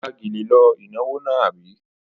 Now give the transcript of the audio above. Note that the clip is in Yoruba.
Ó ya gèlè lọ ìnáwó náà, àbí?